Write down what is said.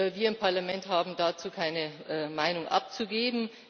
Wir im Parlament haben dazu keine Meinung abzugeben.